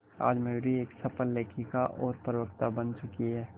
आज मयूरी एक सफल लेखिका और प्रवक्ता बन चुकी है